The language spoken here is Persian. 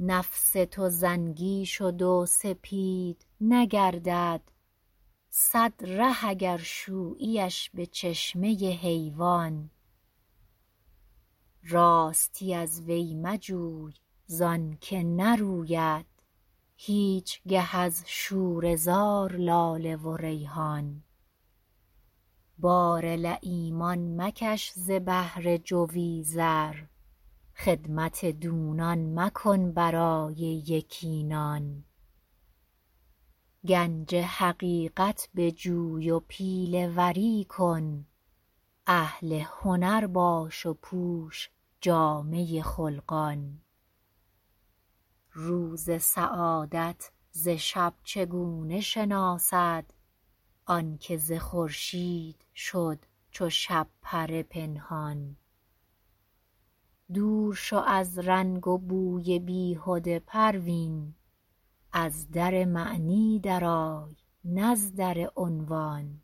نفس تو زنگی شد و سپید نگردد صد ره اگر شوییش بچشمه حیوان راستی از وی مجوی زانکه نروید هیچگه از شوره زار لاله و ریحان بار لییمان مکش ز بهر جوی زر خدمت دونان مکن برای یکی نان گنج حقیقت بجوی و پیله وری کن اهل هنر باش و پوش جامه خلقان روز سعادت ز شب چگونه شناسد آنکه ز خورشید شد چو شبپره پنهان دور شو از رنگ و بوی بیهده پروین از در معنی درای نز در عنوان